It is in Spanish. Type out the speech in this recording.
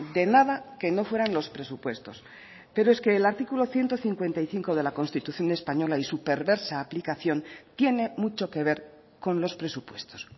de nada que no fueran los presupuestos pero es que el artículo ciento cincuenta y cinco de la constitución española y su perversa aplicación tiene mucho que ver con los presupuestos